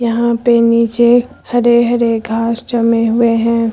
यहां पे नीचे हरे हरे घास जमे हुए है।